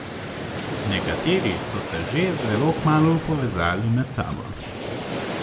Nekateri so se že zelo kmalu povezali med sabo.